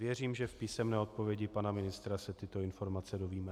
Věřím, že v písemné odpovědi pana ministra se tyto informace dozvíme.